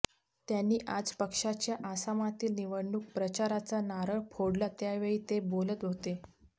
त्यांनी आज पक्षाच्या आसामातील निवडणूक प्रचाराचा नारळ फोडला त्यावेळी ते बोलत होते